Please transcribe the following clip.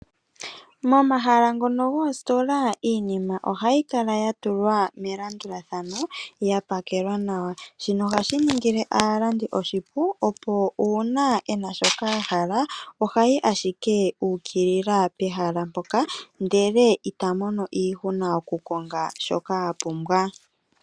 Momahala ngono goositola iinima ohayi kala ya tulwa melandulathano ya pakelwa nawa. Shino ohashi ningile aalandi oshipu, opo uuna ye na shoka ya hala ohaya yi ashike yuukilila pehala mpoka ndele ita mono iihuna yokukonga shoka a pumbwa.